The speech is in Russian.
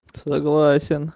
согласен